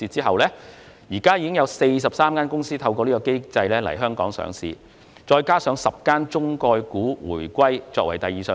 目前已有43間公司透過這機制在香港上市，當中包括10間"中概股"回歸作第二上市。